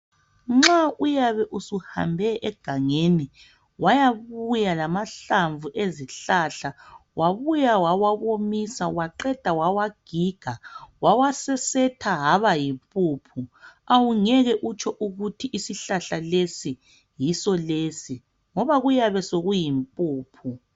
nxa uyabe usuhambe egangeni wayabuya lamahlamvu awezihlahla wabuya wawa womisa waqheda wawagiga wawa sesetha wabayi mpumphu ngeke utsho ukuthi isihlahla lesi yiso lesi ngoba kuyabe sokuyi mpuphu